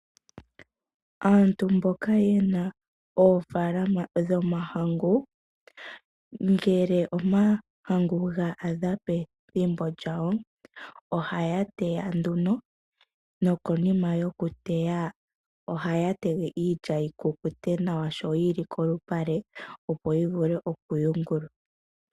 Aantu mboka yena oofalama dhomahangu ngele omahangu ga adha pethimbo lyago ohaya teya nduno. Nokonima yokuteya ohaya tege iilya yikukute nawa sho yili kolupale, opo yivule okuyungulwa.